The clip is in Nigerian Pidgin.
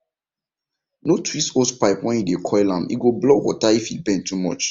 no twist hosepipe when you dey coil ame go block water if e bend too much